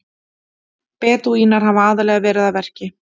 Bedúínar hafa aðallega verið að verki.